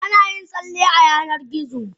Ana yin talle a a Yanar gizo.